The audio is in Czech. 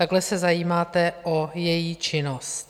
Takhle se zajímáte o její činnost.